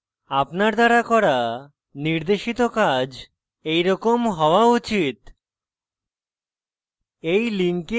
আপনার দ্বারা করা নির্দেশিত কাজ এরকম হওয়া উচিত